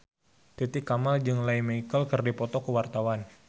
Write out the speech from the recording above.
Titi Kamal jeung Lea Michele keur dipoto ku wartawan